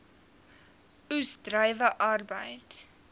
oes druiwe arbeid